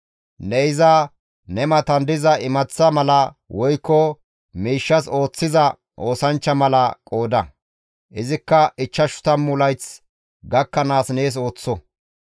Ne iza ne matan diza imaththa mala woykko miishshas ooththiza oosanchcha mala qooda; izikka ichchashu tammu layth gakkanaas nees ooththo.